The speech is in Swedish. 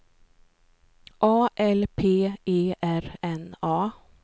A L P E R N A